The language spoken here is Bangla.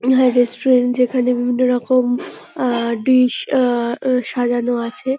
হ্যাঁ রেস্টুরেন্ট যেখানে বিভিন্নরকম আ ডিশ -আ আ সাজানো আছে।